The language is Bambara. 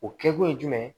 O kɛkun ye jumɛn ye